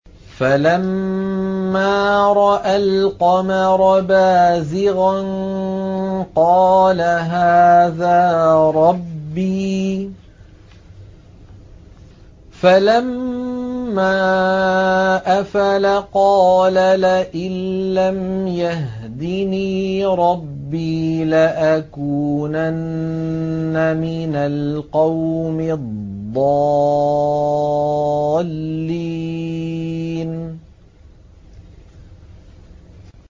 فَلَمَّا رَأَى الْقَمَرَ بَازِغًا قَالَ هَٰذَا رَبِّي ۖ فَلَمَّا أَفَلَ قَالَ لَئِن لَّمْ يَهْدِنِي رَبِّي لَأَكُونَنَّ مِنَ الْقَوْمِ الضَّالِّينَ